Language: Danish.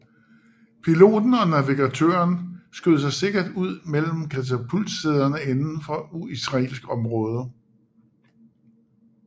Piloten og navigatøren skød sig sikkert ud med katapultsæderne indenfor israelsk område